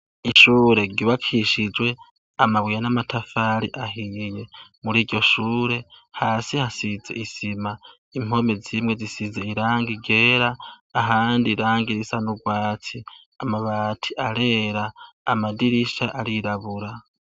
Ishure ryubakishijwe amabuye n'amatafari ahiye. Muri iryo shure, hasi hasize isima, impome zimwe zisize irangi ryera, ahandi irangi risa n'urwatsi. Amabati arera, amadirisha arirabura.